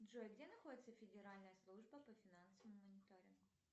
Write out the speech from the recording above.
джой где находится федеральная служба по финансовому мониторингу